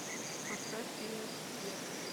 поставь фильмик вверх